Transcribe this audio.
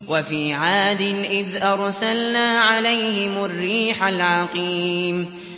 وَفِي عَادٍ إِذْ أَرْسَلْنَا عَلَيْهِمُ الرِّيحَ الْعَقِيمَ